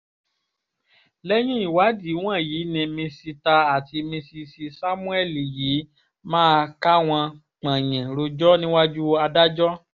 lẹ́yìn ìwádìí wọn ni mísítà àti míṣíìsì sámúẹ́lì yìí máa káwọn pọ̀yìn rojọ́ níwájú adájọ́